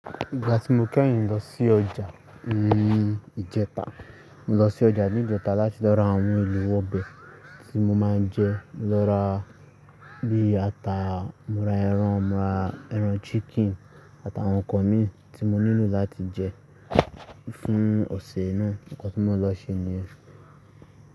Ìgbà tí mo kẹ́yìn lọ sí ọjà nínú ìjẹta, mo lọ sí ọjà ní ìjẹta láti lọ ra àwọn èlò ọbẹ̀ tí mo máa ń jẹ. Mo lọ ra bíi ata, mo ra ẹran, mo ra ẹran chicken àtàwọn nǹkan mi tí mo nílò láti jẹ fún ọ̀sẹ̀ náà. Ǹkan tí mo lọ ṣe ni.